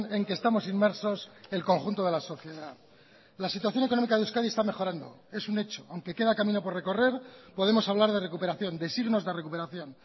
en que estamos inmersos el conjunto de la sociedad la situación económica de euskadi está mejorando es un hecho aunque queda camino por recorrer podemos hablar de recuperación de signos de recuperación